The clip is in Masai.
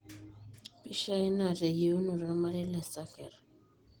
Pishai na teyeunoto ormarei le Sarker